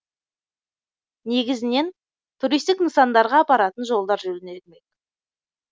негізінен туристік нысандарға апаратын жолдар жөнделмек